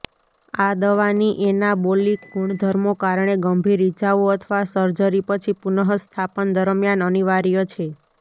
આ દવાની એનાબોલિક ગુણધર્મો કારણે ગંભીર ઇજાઓ અથવા સર્જરી પછી પુનઃસ્થાપન દરમ્યાન અનિવાર્ય છે